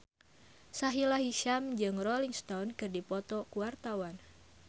Sahila Hisyam jeung Rolling Stone keur dipoto ku wartawan